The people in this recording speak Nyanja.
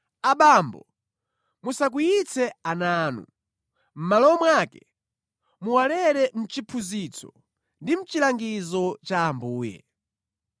Abambo musakwiyitse ana anu; mʼmalo mwake, muwalere mʼchiphunzitso ndi mʼchilangizo cha Ambuye.